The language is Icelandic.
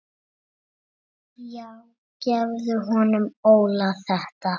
Nei, ekki lengur, sagði Emil.